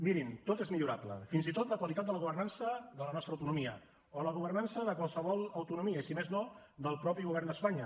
mirin tot és millorable fins i tot la qualitat de la governança de la nostra autonomia o la governança de qualsevol autonomia i si més no del mateix govern d’espanya